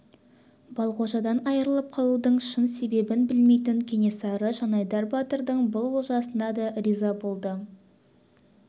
балғожадан айрылып қалуының шын себебін білмейтін кенесары жанайдар батырдың бұл олжасына да риза болды